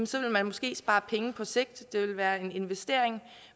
så vil man måske spare penge på sigt det vil være en investering